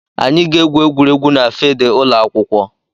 Anyị ga-egwu egwuregwu na filidi ụlọ akwụkwọ.